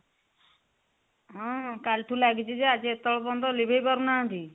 ହଁ କାଲିଠୁ ଲାଗିଛି ଯେ ଆଜି ଏତେବେଳ ପର୍ଯ୍ୟନ୍ତ ଲିଭେଇ ପାରୁନାହାନ୍ତି